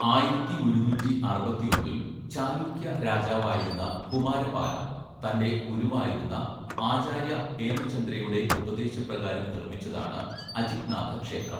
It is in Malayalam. ആയിരത്തി ഒരുന്നൂറ്റി അറുപത്തിയൊന്നില്‍ ചാലുക്യ രാജാവായിരുന്ന കുമാരപാല തന്‍റെ ഗുരുവായിരുന്ന ആചാര്യ ഹേമചന്ദ്രയുടെ ഉപദേശപ്രകാരം നിർമ്മിച്ചതാണ് അജിത്നാഥ ക്ഷേത്രം.